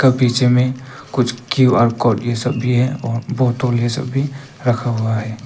पीछे में कुछ क्यूँ_आर कोड ये सब भी है और बॉटल ये सब भी रखा हुआ है।